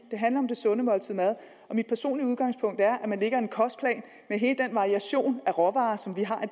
det handler om det sunde måltid mad mit personlige udgangspunkt er at man lægger en kostplan med hele den variation af råvarer som vi har